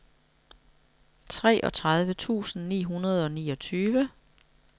treogtredive tusind ni hundrede og niogtyve